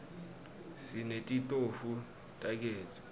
sinetitofu tagezi